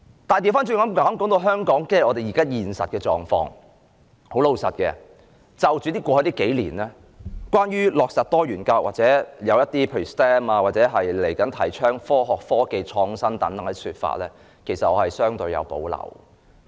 反過來說，談到香港現實的狀況，老實說，過去數年，出現有關落實多元教育或某些說法，例如科學、科技、工程和數學或其後提倡的科學、科技創新等，我其實相對有保留。